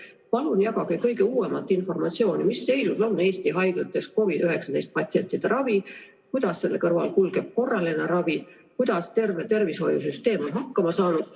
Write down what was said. Palun jagage kõige uuemat informatsiooni, mis seisus on Eesti haiglates COVID-19 patsientide ravi, kuidas selle kõrval kulgeb korraline ravi, kuidas terve tervishoiusüsteem on hakkama saanud.